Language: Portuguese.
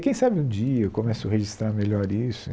Quem sabe um dia eu começo a registrar melhor isso.